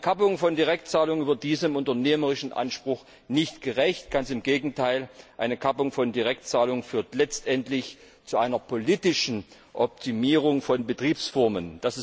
Eine Kappung von Direktzahlungen wird diesem unternehmerischen Anspruch nicht gerecht ganz im Gegenteil, eine Kappung von Direktzahlungen führt letztendlich zu einer politischen Optimierung von Betriebsformen.